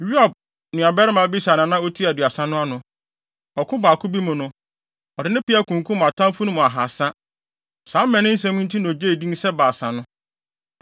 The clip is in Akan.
Yoab nuabarima Abisai na na otua Aduasa no ano. Ɔko baako bi mu no, ɔde ne peaw kunkum atamfo no mu ahaasa. Saa mmaninsɛm yi nti na ogyee din sɛ Baasa no.